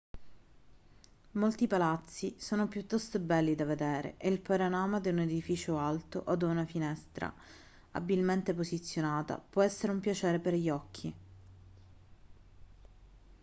molti palazzi sono piuttosto belli da vedere e il panorama da un edificio alto o da una finestra abilmente posizionata può essere un piacere per gli occhi